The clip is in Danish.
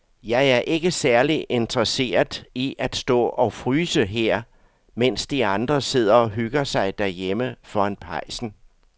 Jeg er ikke særlig interesseret i at stå og fryse her, mens de andre sidder og hygger sig derhjemme foran pejsen.